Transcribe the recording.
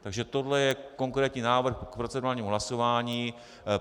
Takže tohle je konkrétní návrh k procedurálnímu hlasování.